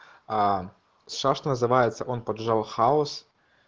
а сейчас что называется он поджал хаус